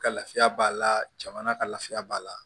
Ka lafiya b'a la jamana ka lafiya b'a la